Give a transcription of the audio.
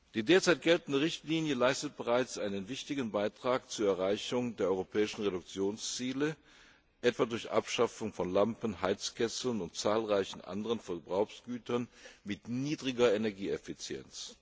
Die derzeit geltende Richtlinie leistet bereits einen wichtigen Beitrag zur Erreichung der europäischen Reduktionsziele, etwa durch Abschaffung von Lampen, Heizkesseln und zahlreichen anderen Verbrauchsgütern mit niedriger Energieeffizienz.